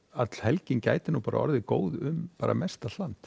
öll helgin gæti orðið góð um mest allt land